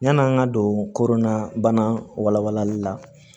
Yan'an ka don korona bana wala walali la